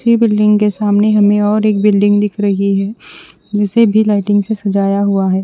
Building के सामने हमे और एक बिल्डिंग दिख रही है उसी भी लाइटिंग से सजाया हिआ है।